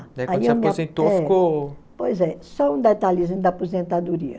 Daí quando se aposentou ficou... Pois é. Só um detalhezinho da aposentadoria.